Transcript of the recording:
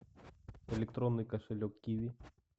электронный кошелек киви